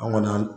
An kɔni an